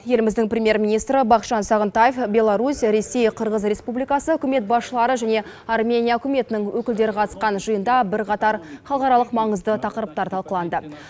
еліміздің премьер министрі бақытжан сағынтаев беларусь ресей қырғыз республикасы үкімет басшылары және армения үкіметінің өкілдері қатысқан жиында бірқатар халықаралық маңызды тақырыптар талқыланды